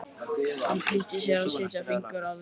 Hann flýtti sér að setja fingur að vörum.